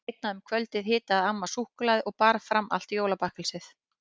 Seinna um kvöldið hitaði amma súkkulaði og bar fram allt jólabakkelsið.